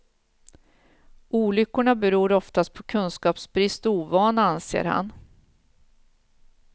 Olyckorna beror oftast på kunskapsbrist och ovana, anser han.